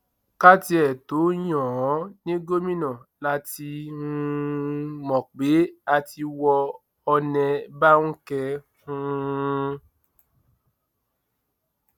ká tiẹ tóó yan án ní gómìnà la ti um mọ pé a ti wọ ọnẹ báńkẹ um